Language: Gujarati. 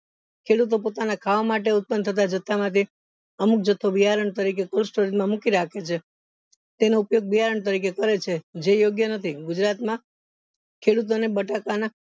ખેડૂતો પોતાના ખાવા માટે ઉત્પન થતા જથ્થા માંથી અમુક જથ્થો બિયારણ તરીકે cold storage માં મૂકી રાખે છે તેનો ઉપયોગ બિયારણ તરીકે કરે છે જે યોગ્ય નથી ગુજરાત માં ખેડૂતોને બટાકા ના